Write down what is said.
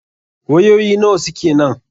Wayoyi nawa suke nan?